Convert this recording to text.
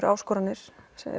áskoranir